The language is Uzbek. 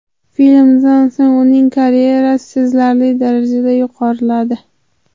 Filmdan so‘ng uning karyerasi sezilarli darajada yuqoriladi.